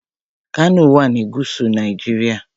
Kano wà ní gúúsù Nàìjíríà.